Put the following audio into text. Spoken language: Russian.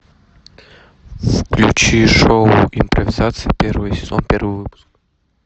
включи шоу импровизация первый сезон первый выпуск